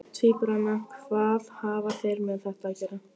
Tvíburana, hvað hafa þeir með þetta að gera?